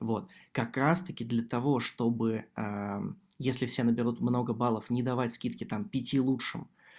вот как раз таки для того чтобы ээ если все наберут много баллов не давать скидки там пяти лучшим